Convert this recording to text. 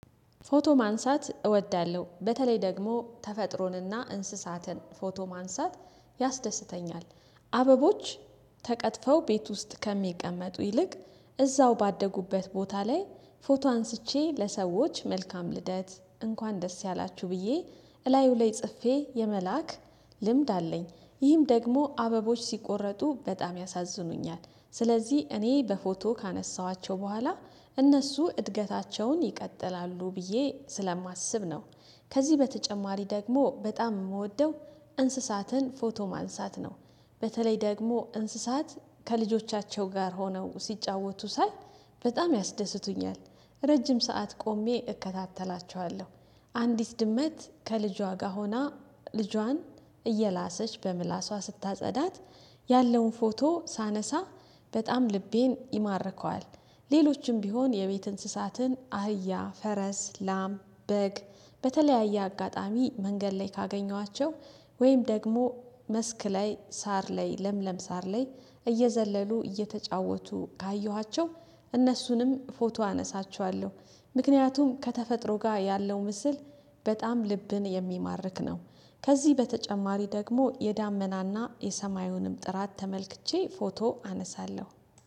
ፎቶ ማንሳት እወዳለሁ በተለይ ደግሞ ተፈጥሮንና እንስሳትን ፎቶ ማንሳት ያስደስተኛል። አበቦች ተቀጥፈው ቤት ውስጥ ከሚቀመጡ ይልቅ እዛው ባደጉበት ቦታ ላይ ፎቶ አንስቼ ለሰዎች መልካም ልደት እንኳን ደስ ያላችሁ ብዬ እላዩ ላይ ጽፌ የመላክ ልምድ አለኝ። ይህም ደግሞ አበቦች ሲቆረጡ በጣም ያሳዝኑኛል ስለዚህ እኔ በፎቶ ካነሳኋቸው በኋላ እነሱ እድገታቸውን ይቀጥላሉ ብዬ ስለማስብ ነው። ከዚህ በተጨማሪ ደግሞ በጣም የምወደው እንስሳትን ፎቶ ማንሳት ነው። በተለይ ደግሞ እንስሳት ከልጆቻቸው ጋር ሆነው ሲጫወቱ ሳይ በጣም ያስደስቱኛል። ረጅም ሰዓት ቆሜ እከታተላችኋለሁ። አንዲት ድመት ከልጇ ጋር ሆና ልጇን እየላሰች በምላሷ ስታጸዳት ያለውን ፎቶ ሳነሳ በጣም ልቤን ይማርከዋል። ሌሎችም ቢሆን የቤት እንስሳትን አህ፣ ፈረስ፣ ላም፣ በግ በተለያየ አጋጣሚ መንገድ ላይ ካገኘኋቸው ወይም ደግሞ መስክ ላይ ሳር ላይ ለምለም ሳር ላይ እየዘለሉ እየተጫወቱ ካየኋቸው እነሱንም ፎቶ አነሳቸዋለሁ። ምክንያቱም ከተፈጥሮ ጋር ያለው ምስል በጣም ልብን የሚማርክ ነው። ከዚህ በተጨማሪ ደግሞ የዳመናና የሰማዩንም ጥራት ተመልክቼ ፎቶ አነሳለሁ